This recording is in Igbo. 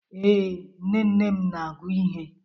Ee, nne nne m na-agụ ihe.